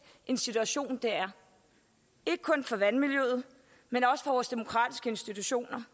en situation det er ikke kun for vandmiljøet men også for vores demokratiske institutioner